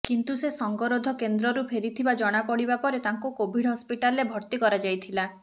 କିନ୍ତୁ ସେ ସଙ୍ଗରୋଧ କେନ୍ଦ୍ରରୁ ଫେରିଥିବା ଜଣାପଡିବା ପରେ ତାଙ୍କୁ କୋଭିଡ୍ ହସ୍ପିଟାଲରେ ଭର୍ତ୍ତି କରାଯାଇଥିଲା